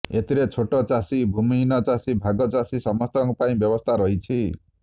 ଏଥିରେ ଛୋଟ ଚାଷୀ ଭୂମିହୀନ ଚାଷୀ ଭାଗ ଚାଷୀ ସମସ୍ତଙ୍କ ପାଇଁ ବ୍ୟବସ୍ଥା ରହିଛି